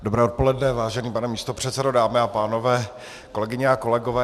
Dobré odpoledne, vážený pane místopředsedo, dámy a pánové, kolegyně a kolegové.